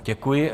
Děkuji.